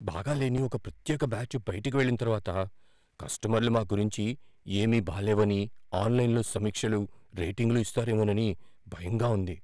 బాగాలేని ఒక ప్రత్యేక బ్యాచ్ బయటకు వెళ్లిన తర్వాత, కస్టమర్లు మా గురించి ఏమీ బాలేవని ఆన్లైన్లో సమీక్షలు, రేటింగులు ఇస్తారేమోనని భయంగా ఉంది.